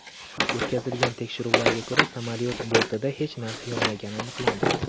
O‘tkazilgan tekshiruvlarga ko‘ra, samolyot bortida hech narsa yonmagani aniqlandi.